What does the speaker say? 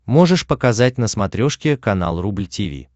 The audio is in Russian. можешь показать на смотрешке канал рубль ти ви